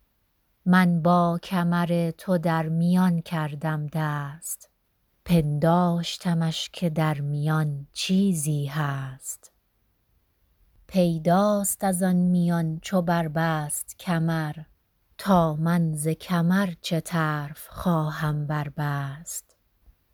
من با کمر تو در میان کردم دست پنداشتمش که در میان چیزی هست پیداست از آن میان چو بربست کمر تا من ز کمر چه طرف خواهم بربست